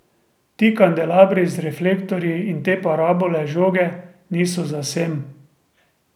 Ti kandelabri z reflektorji in te parabole žoge niso za sem.